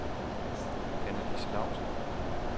Annelise Laustsen